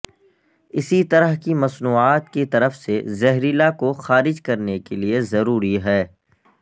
اسی طرح کی مصنوعات کی طرف سے زہریلا کو خارج کرنے کے لئے ضروری ہے